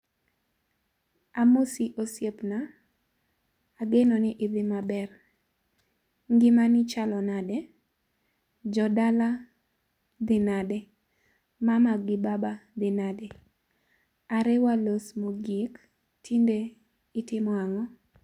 Amosi osiepna. Ageno ni idhi maber. Ngimani chalo nade? Jo dala dhi nade? Mama gi baba dhi nade ? Are walos mogik, tinde itimo ang'o?